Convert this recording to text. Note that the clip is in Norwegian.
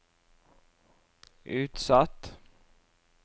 utsatt